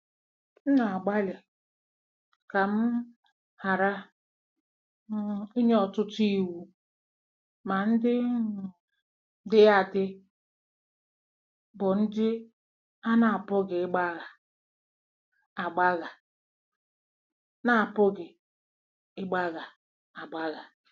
" M na-agbalị ka m um ghara um inye ọtụtụ iwu, ma ndị um dị adị bụ ndị a na-apụghị ịgbagha agbagha na-apụghị ịgbagha agbagha.